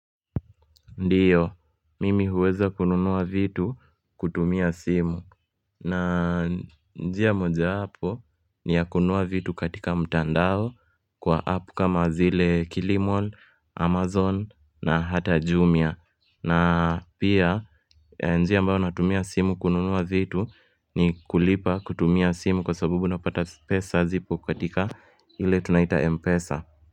Ndio, mimi huweza kununua vitu kutumia simu. Na njia moja wapo ni ya kununua vitu katika mtandao kwa app kama zile Kilimall, Amazon na hata Jumia. Na pia njia ambayo natumia simu kununua vitu ni kulipa kutumia simu kwa sabubu unapata pesa zipo katika ile tunaita Mpesa.